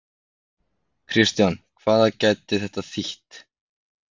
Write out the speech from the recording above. Kristján, hvað gæti þetta þýtt?